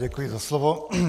Děkuji za slovo.